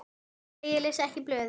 Nei ég les ekki blöðin.